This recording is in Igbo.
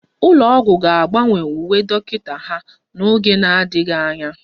Ụlọ ọgwụ ga-agbanwe uwe dọkịta ha n'oge na-adịghị anya